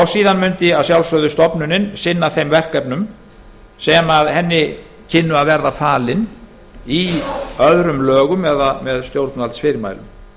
síðan mundi stofnunin að sjálfsögðu sinna þeim verkefnum sem henni kynnu að verða falin í öðrum lögum eða með stjórnvaldsfyrirmælum